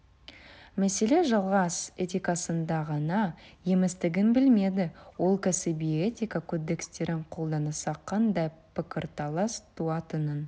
мәселе жалғыз этикасында ғана еместігін білмеді ол кәсіби этика кодекстерін қолданса қандай пікірталас туатынын